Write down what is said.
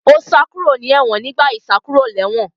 Ó sá kúrò ní ẹ̀wọ̀n nígbà ìsákúròlẹ́wọ̀n